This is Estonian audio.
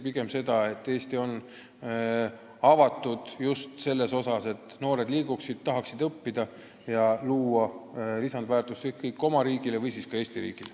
Pigem on hea, et Eesti on avatud, et välismaalastest noored tahaksid siin õppida ja luua lisandväärtust ükskõik kas oma riigile või siis Eesti riigile.